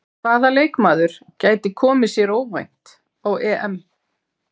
Hvaða leikmaður gæti komið sér óvænt á EM?